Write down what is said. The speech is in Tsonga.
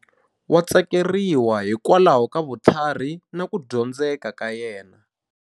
Wa tsakeriwa hikwalaho ka vutlhari na ku dyondzeka ka yena.